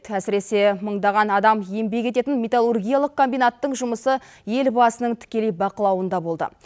әсіресе мыңдаған адам еңбек ететін металлургиялық комбинаттың жұмысы елбасының тікелей бақылауында болды